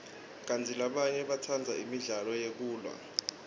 kantsi labanye batsandza imidlalo yekulwa